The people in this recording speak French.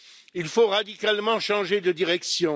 Il faut radicalement changer de direction.